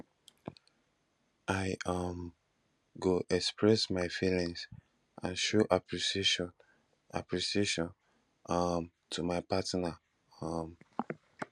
i um go express my feelings and show appreciation appreciation um to my partner um